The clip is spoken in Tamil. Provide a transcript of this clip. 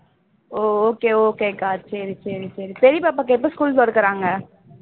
ஓ okay okay க்கா சரி சரி சரி பெரிய பாப்பாவுக்கு எப்போ school தொறக்கிறாங்க